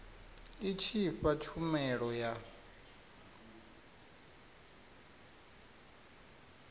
i tshi fha tshumelo ya